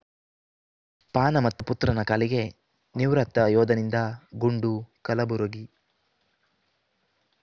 ಪಾನಮತ್ತ ಪುತ್ರನ ಕಾಲಿಗೆ ನಿವೃತ್ತ ಯೋಧನಿಂದ ಗುಂಡು ಕಲಬುರಗಿ